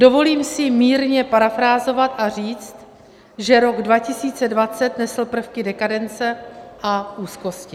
Dovolím si mírně parafrázovat a říct, že rok 2020 nesl prvky dekadence a úzkosti.